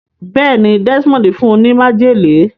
béèni Desmond fún ní májèlé.